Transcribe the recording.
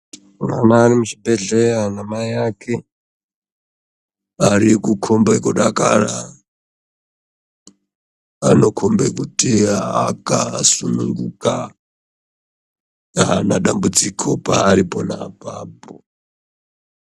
Mwana varimuchibhedhlera namai ake vatikukombe kudakara vanokombe kuti akasununguka haana dambudziko paari konapapo .